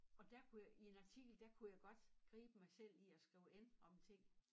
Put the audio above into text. Og dér kunne jeg i en artikel der kunne jeg godt gribe mig selv i at skrive en om ting